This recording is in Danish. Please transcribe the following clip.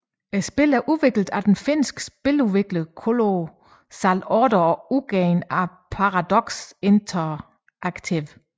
Spillet er udviklet af den finske spiludvikler Colossal Order og udgivet af Paradox Interactive